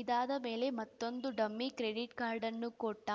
ಇದಾದ ಮೇಲೆ ಮತ್ತೊಂದು ಡಮ್ಮಿ ಕ್ರೆಡಿಟ್‌ ಕಾರ್ಡನ್ನೂ ಕೊಟ್ಟ